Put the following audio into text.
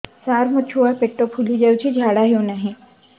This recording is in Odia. ସାର ମୋ ଛୁଆ ପେଟ ଫୁଲି ଯାଉଛି ଝାଡ଼ା ହେଉନାହିଁ